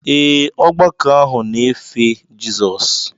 Ee, ọgbakọ ahụ na-efe Jizọs.